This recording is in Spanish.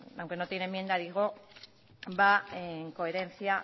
aunque no tiene enmienda va en coherencia